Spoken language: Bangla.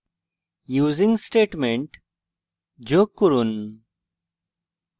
using statement যোগ করুন